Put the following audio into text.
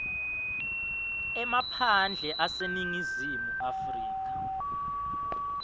emaphandle aseningizimu afrika